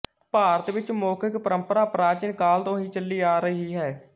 ਭਾਰਤ ਵਿਚ ਮੌਖਿਕ ਪਰੰਪਰਾ ਪ੍ਰਾਚੀਨ ਕਾਲ ਤੋਂ ਹੀ ਚੱਲੀ ਆ ਰਹੀ ਹੈ